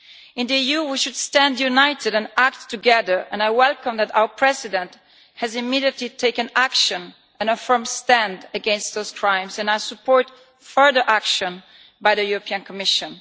In the EU we should stand united and act together, and I welcome that our President has immediately taken action and a firm stand against those crimes, and I support further action by the European Commission.